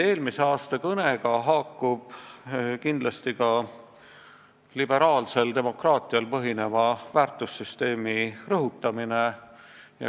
Eelmise aasta kõnega haakub kindlasti ka liberaalsel demokraatial põhineva väärtussüsteemi rõhutamine.